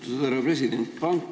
Austatud härra president!